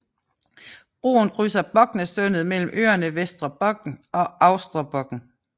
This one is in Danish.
Broen krydser Boknasundet mellem øerne Vestre Bokn og Austre Bokn